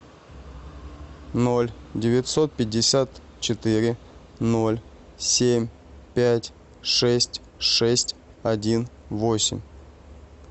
ноль девятьсот пятьдесят четыре ноль семь пять шесть шесть один восемь